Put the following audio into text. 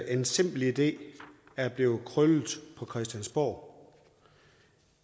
en simpel idé er blevet krøllet på christiansborg